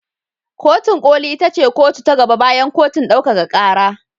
Kotin ƙoli ita ce kotu ta gaba bayan kotun ɗaukaka ƙara.